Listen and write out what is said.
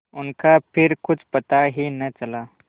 उनका फिर कुछ पता ही न चला